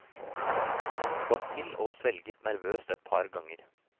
Han skvatt til og svelget nervøst et par ganger.